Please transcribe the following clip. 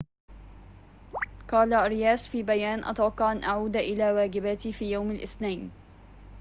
قال أرياس في بيان أتوقع أن أعود إلى واجباتي في يوم الاثنين